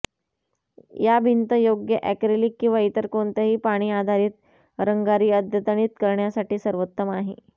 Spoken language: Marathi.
या भिंत योग्य ऍक्रेलिक किंवा इतर कोणत्याही पाणी आधारित रंगारी अद्यतनित करण्यासाठी सर्वोत्तम आहे